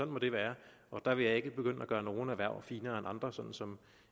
må det være der vil jeg ikke begynde at gøre nogle erhverv finere end andre sådan som